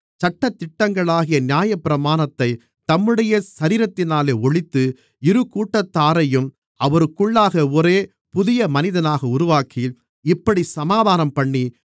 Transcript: சட்டதிட்டங்களாகிய நியாயப்பிரமாணத்தைத் தம்முடைய சரீரத்தினாலே ஒழித்து இருகூட்டத்தாரையும் அவருக்குள்ளாக ஒரே புதிய மனிதனாக உருவாக்கி இப்படிச் சமாதானம்பண்ணி